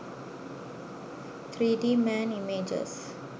3d man images